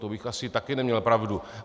To bych asi také neměl pravdu.